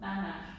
Nej nej